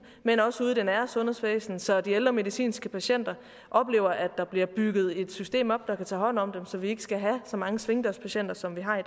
men også ude i det nære sundhedsvæsen så de ældre medicinske patienter oplever at der bliver bygget et system op der kan tage hånd om dem så vi ikke skal have så mange svingdørspatienter som vi har i